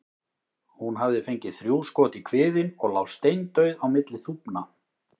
Hún hafði fengið þrjú skot í kviðinn og lá steindauð á milli þúfna.